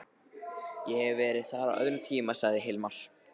Ég hef verið þar á öðrum tíma, sagði Hilmar.